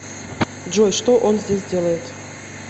джой что он здесь делает